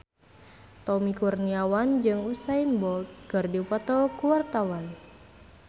Tommy Kurniawan jeung Usain Bolt keur dipoto ku wartawan